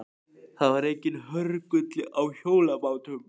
Það var enginn hörgull á hjólabátum.